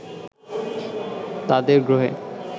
তাদের গ্রহে